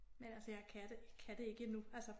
Men altså jeg kan det kan det ikke endnu altså